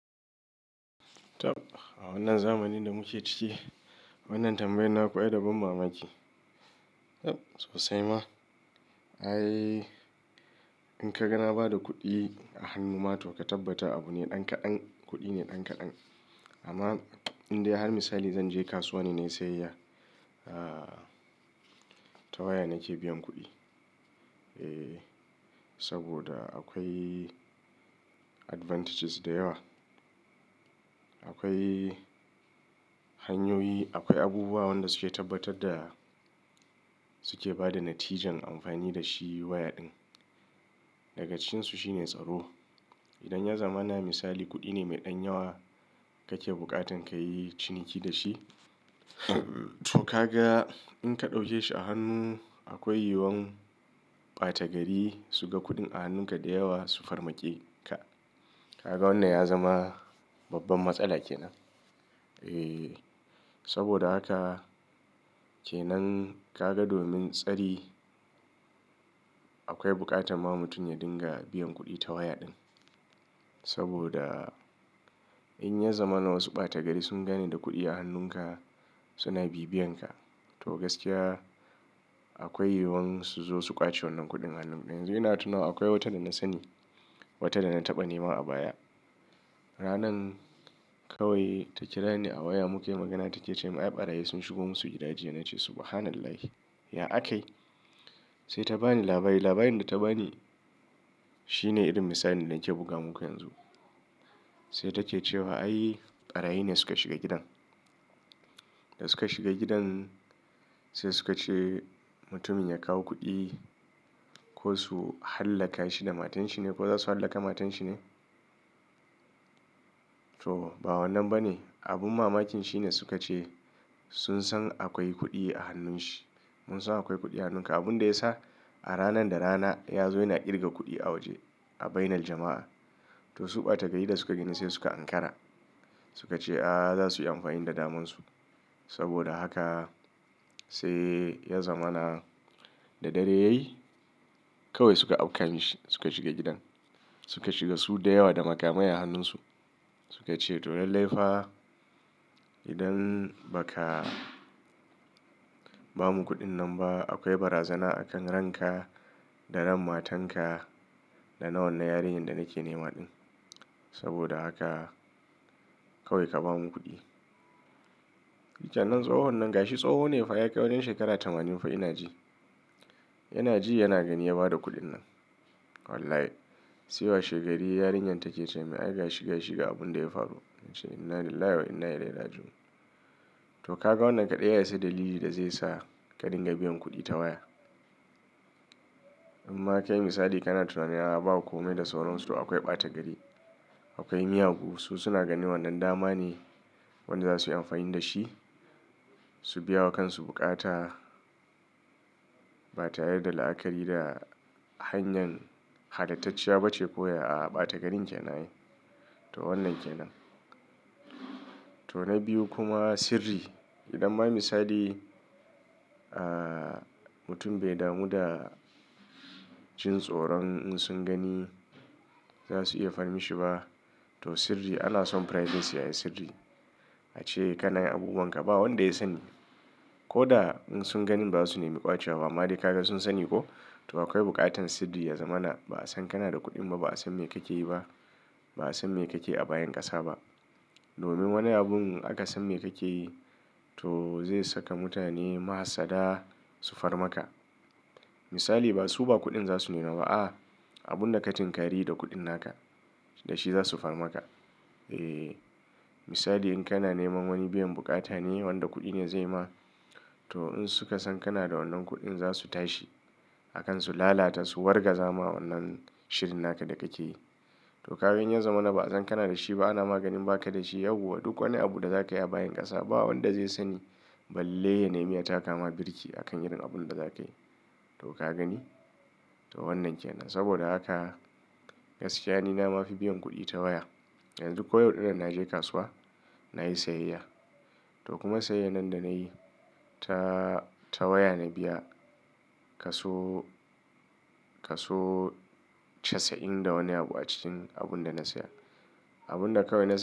A wannan zamanin da muke ciki, wannan tambayar naku ai da ban mamaki. Sosai ma, ai in ka ga na ba da kuɗi a hannu ma to ka tabbata abu ne ɗan kaɗan, kuɗi ne ɗan kaɗan. Amma indai har misali zan je kasuwa ne na yi sayayya ta waya nake biyan kuɗi. Saboda akwai advantages da yawa. Akwai hanyoyi, akwai abubuwa wanda suke tabbatar da suke ba da natijan amfani da shi waya din. Daga cikin su shine tsaro. Idan ya zamana misali kuɗi ne mai ɗan yawa kake buƙatan ka yi ciniki da shi. To ka ga in ka ɗauke shi a hannu akwai yiyuwan ɓata gari su ga kuɗin a hannunka da yawa su farmake ka. Ka ga wannan ya zama babban matsala kenan. Saboda haka kenan ka ga domin tsari akwai buƙatar ma mutum ya dinga biyan kuɗi ta waya ɗin. Saboda in ya zamana wasu ɓata gari sun gani da kuɗi a hannunka suna bibiyan ka. To gaskiya akwai yiyuwan su zo su ƙwace wannan kuɗin hannunka. Yanzu ina tunawa akwai wata da na sani, wata da na taɓa nema a baya. Ranar kawai ta kira ni a waya muke magana take ce min "ai ɓarayi sun shigo masu gida jiya." Na ce subhanallah ya akayi? Sai ta bani labari. Labarin da ta bani shi ne irin misalin da nake buga muku yanzu. Sai take cewa "ai ɓarayi ne suka shiga gidan." Da suka shiga gidan sai suka ce mutumin ya kawo kuɗi ko su hallaka shi da matan shi ne ko za su hallaka matan shi ne? To ba wannan ba ne. Abun mamakin shi ne suka ce sun san akwai kuɗi a hannun shi. Mun san akwai kuɗi a hannunka. Abin da ya sa a ranan da rana ya zo yana ƙirga kuɗi a waje a bainar jama'a. To su ɓata gari da suka gani sai suka ankara. Suka ce a za su yi amfani da daman su. Saboda haka sai ya zamana da dare yayi kawai suka aukan shi suka shiga gidan. Suka shiga su da yawa da makamai a hannun su. Suka ce to lallai fa idan ba ka ba mu kuɗin nan ba akwai barazana a kan ran ka da ran matan ka da na wannan yarinyar da nake nema ɗin. Saboda haka kawai ka ba mu kuɗi. Sannan tsohon nan ga shi tsoho ne fa ya kai wurin shekara tamanin fa ina ji. Yana ji yana gani ya bada kuɗin nan. Wallahi sai washe gari yarinyar take ce min ai ga shi, ga shi ga abun da ya faru. Na ce inna lillahi wa inna ilaihi raji'un. To ka ga wannan kaɗai ya yi sai dalili da zai sa ka dinga biyan kuɗi ta waya. In ma ka yi misali ka na tunanin a wa ba komai da sauransu to akwai ɓata gari. Akwai miyagu su suna ganin wannan dama ne wanda za su yi amfani da shi. Su biya wa kan su bukata ba tare da la'akari da hanyar halattacciya ba ce koya aa ɓata garin kenan ai. To wannan kenan. To na biyu kuma sirri. Idan ma misali mutum bai damu da jin tsoron in sun gani za su iya farmishi ba. To sirri ana son privacy ai sirri. A ce kanayin abubuwan ka ba wanda ya sani. Ko da in sun gani ba su nemi ƙwace wa ba. Amma dai ka ga sun sani ko? To akwai buƙatar sirri ya zamana ba a san kana da kuɗin ba, ba a san me kake yi ba, ba a san me kake a bayan ƙasa ba. Domin wani abun aka san me kake yi to zai saka mutane mahassada su farmaka. Misali ba su ba kuɗin za su nema ba aa abun da ka tinkari yi da kuɗin naka da shi za su farmaka. Misali in kana neman wani biyan bukata ne wanda kuɗi ne zai ma to in suka san kana da wannan kuɗin za su tashi a kan su lalata su wargaza ma wannan shirin naka da kake yi. To kaga in ya zamana ba a san kana da shi ba, ana ma ganin baka da shi yauwa duk wani abu da za ka yi a bayan ƙasa ba wanda zai sani. Saboda haka sai ya zamana da dare yayi kawai suka aukan shi suka shiga gidan. To ka gani? To wannan kenan. Saboda haka gaskiya ni na ma fi biyan kuɗi ta waya. Suka shiga su da yawa da magamayi a hannun su. To kuma sayayyar nan da na yi ta waya na biya kaso, kaso casa'in da wani abu a cikin abun da na saya. Abun da kawai na saya.